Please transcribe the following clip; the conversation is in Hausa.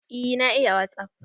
Eh na iya wasup.